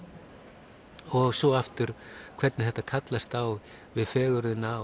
og svo aftur hvernig þetta kallast á við fegurðina